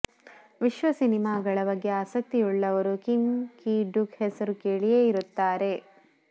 ವಿಶ್ವ ಸಿನಿಮಾಗಳ ಬಗ್ಗೆ ಆಸಕ್ತಿಯುಳ್ಳವರು ಕಿಮ್ ಕಿ ಡುಕ್ ಹೆಸರು ಕೇಳಿಯೇ ಇರುತ್ತಾರೆ